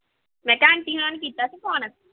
ਮੈਂ ਕਿਹਾ ਆਂਟੀ ਹੋਣਾਂ ਨੇ ਕੀਤਾ ਸੀ phone